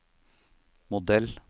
modell